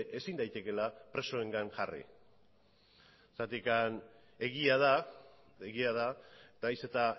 ezin daitekeela presoengan jarri zeren egia da nahiz eta